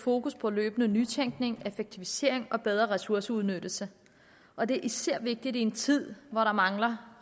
fokus på løbende nytænkning effektivisering og bedre ressourceudnyttelse og det er især vigtigt i en tid hvor der mangler